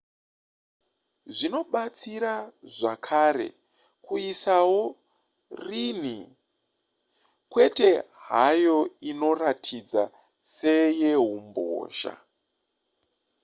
zvinobatsira zvakare kuisawo rin'i kwete hayo inoratidza seyeumbozha